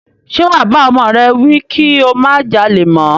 Ṣe wà bá ọmọ rẹ wí kí ó má jalè mọ́?